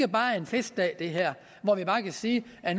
bare er en festdag det her hvor vi bare kan sige at